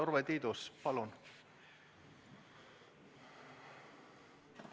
Urve Tiidus, palun!